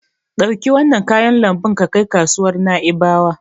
Ɗauki wannan kayan lambun ka kai kasuwar Na'ibawa.